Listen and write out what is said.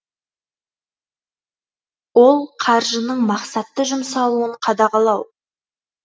ол қаржының мақсатты жұмсалуын қадағалау